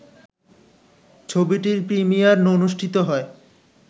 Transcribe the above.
ছবিটির প্রিমিয়ার অনুষ্ঠিত হয়